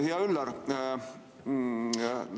Hea Üllar!